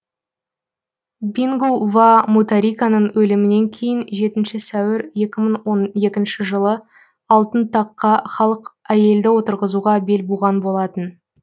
бингу ва мутариканың өлімінен кейін жетінші сәуір екі мың он екінші жылы алтын таққа халық әйелді отырғызуға бел буған болатын